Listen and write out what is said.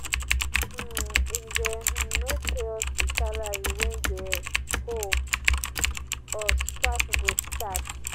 um if dem um no pay us di salary wey dem owe us strike go start.